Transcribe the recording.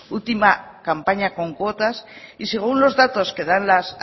última campaña con cuotas y según los datos que dan las